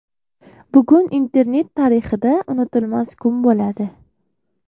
Bugun internet tarixida unutilmas kun bo‘ladi.